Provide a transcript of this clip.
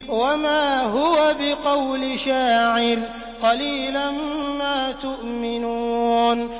وَمَا هُوَ بِقَوْلِ شَاعِرٍ ۚ قَلِيلًا مَّا تُؤْمِنُونَ